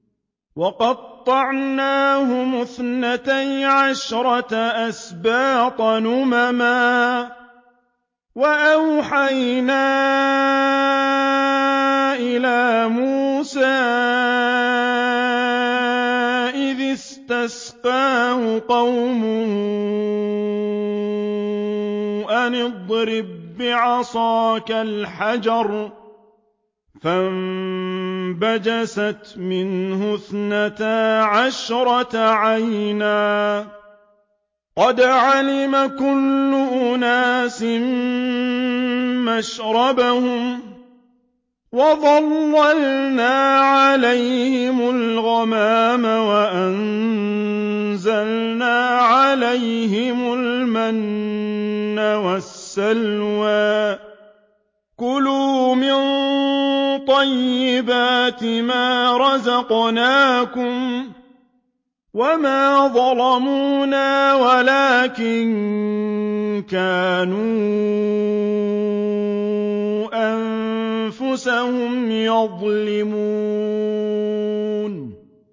وَقَطَّعْنَاهُمُ اثْنَتَيْ عَشْرَةَ أَسْبَاطًا أُمَمًا ۚ وَأَوْحَيْنَا إِلَىٰ مُوسَىٰ إِذِ اسْتَسْقَاهُ قَوْمُهُ أَنِ اضْرِب بِّعَصَاكَ الْحَجَرَ ۖ فَانبَجَسَتْ مِنْهُ اثْنَتَا عَشْرَةَ عَيْنًا ۖ قَدْ عَلِمَ كُلُّ أُنَاسٍ مَّشْرَبَهُمْ ۚ وَظَلَّلْنَا عَلَيْهِمُ الْغَمَامَ وَأَنزَلْنَا عَلَيْهِمُ الْمَنَّ وَالسَّلْوَىٰ ۖ كُلُوا مِن طَيِّبَاتِ مَا رَزَقْنَاكُمْ ۚ وَمَا ظَلَمُونَا وَلَٰكِن كَانُوا أَنفُسَهُمْ يَظْلِمُونَ